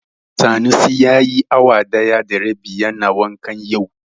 Sanusi yayi awa ɗaya da rabi yana wanka yau.